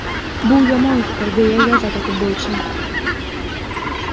Bu yomon fikr”, deya yozadi futbolchi.